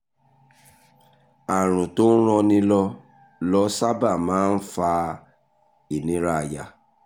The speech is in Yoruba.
àrùn tó ń ranni ló ló sábà máa ń fa ìnira àyà